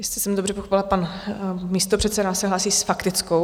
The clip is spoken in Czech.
Jestli jsem dobře pochopila, pan místopředseda se hlásí s faktickou.